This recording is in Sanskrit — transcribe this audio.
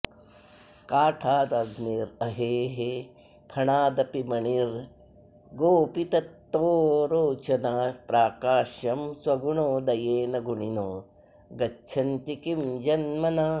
काष्ठादग्निरहेः फणादपि मणिर्गोपित्ततो रोचना प्राकाश्यं स्वगुणोदयेन गुणिनो गच्छन्ति किं जन्मना